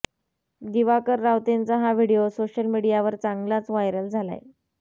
दिवाकर रावतेंचा हा video social मीडियावर चांगलाच व्हायरल झालाय